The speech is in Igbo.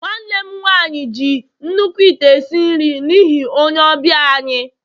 nwanne m nwanyi ji nnukwu ite esi nri n'ihi onye ọbịa anyi